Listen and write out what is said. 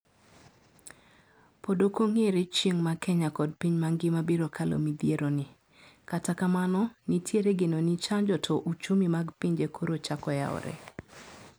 Pod okong'ere chieng' ma Kenya kod piny mangima biro kalo midhiero ni. Kata kamano, nitiere geno ni chanjo to ochumi mag pinje koro chako yaore.